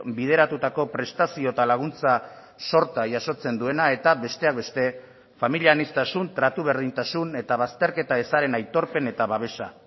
bideratutako prestazio eta laguntza sorta jasotzen duena eta besteak beste familia aniztasun tratu berdintasun eta bazterketa ezaren aitorpen eta babesa